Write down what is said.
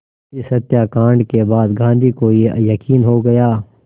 इस हत्याकांड के बाद गांधी को ये यक़ीन हो गया